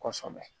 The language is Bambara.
Kɔsɛbɛ